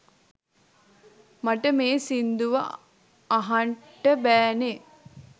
මට මේ සිංදුව අහන්ට බෑනේ